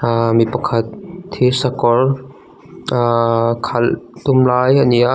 ahh mi pakhat thirsakawr ahhhh khalh tum lai a ni a--